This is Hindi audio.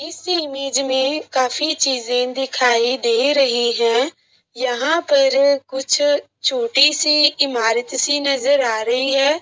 इस इमेज में काफी चीजें दिखाई दे रही हैं। यहां पर कुछ छोटी सी इमारत सी नजर आ रही है।